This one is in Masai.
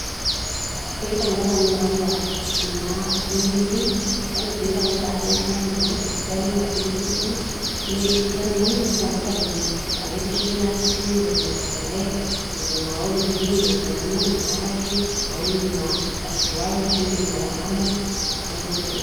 Peitangaza ninye kwanza ina benki esimu, yani peitangaza agents enyenak esidano ina benki esimu, yani nitangaza venye eretisho inasimu venye nalelek, niriu iropiyiani nakata ake indim airiwai ashu indim atangamu neaku nejia